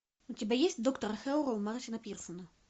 у тебя есть доктор хэрроу мартина пирсона